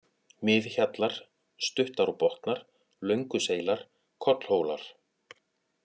Miðhjallar, Stuttárbotnar, Lönguseilar, Kollhólar